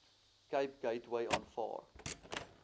cape gateway aanvaar